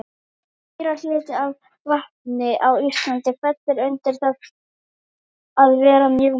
meirihluti af vatni á íslandi fellur undir það að vera mjög mjúkt